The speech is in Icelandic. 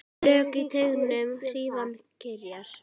Slök í teignum hrífan kyrjar.